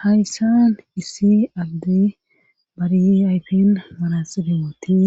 Hayssan issi alde bariyi ayfin marasilemoti